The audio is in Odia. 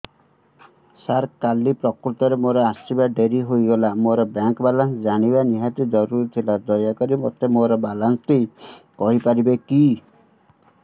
ସାର କାଲି ପ୍ରକୃତରେ ମୋର ଆସିବା ଡେରି ହେଇଗଲା ମୋର ବ୍ୟାଙ୍କ ବାଲାନ୍ସ ଜାଣିବା ନିହାତି ଜରୁରୀ ଥିଲା ଦୟାକରି ମୋତେ ମୋର ବାଲାନ୍ସ ଟି କହିପାରିବେକି